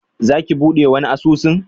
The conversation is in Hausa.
Za ki buɗe wani asusun?